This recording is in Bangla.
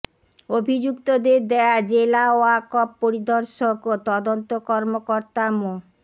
অভিযুক্তদের দেয়া জেলা ওয়াক্ফ পরিদর্শক ও তদন্ত কর্মকর্তা মো